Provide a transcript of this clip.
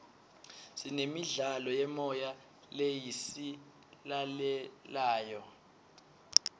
sinemidlalo yemoya lesiyilalelayo